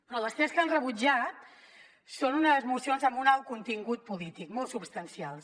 però les tres que han rebutjat són unes esmenes amb un alt contingut polític molt substancials